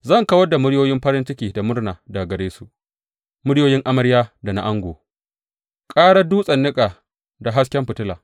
Zan kawar da muryoyin farin ciki da murna daga gare su, muryoyin amarya da na ango, ƙarar dutsen niƙa da hasken fitila.